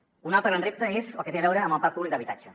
un altre gran repte és el que té a veure amb el parc públic d’habitatge